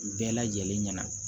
Bɛɛ lajɛlen ɲɛna